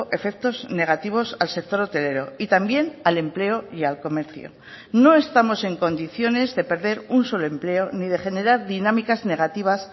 efectos negativos al sector hotelero y también al empleo y al comercio no estamos en condiciones de perder un solo empleo ni de generar dinámicas negativas